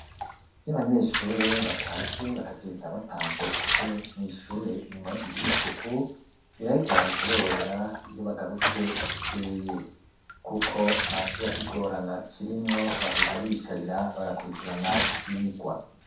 Iyo abanyeshure batashe bakagenda bapanze intebe mw'ishure inyuma yo kugira isuku biraheza bikaborohera iyo bagarutse bukeye kuko ntakiba kigorana kirimwo bashika biyicarira bagakurikirana ivyirwa.